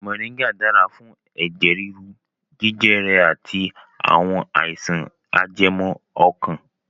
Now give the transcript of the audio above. Moringa dára fún ẹ̀jẹ̀ rírú, jẹjẹrẹ àti àwọn àìsàn ajẹmọ́ ọkàn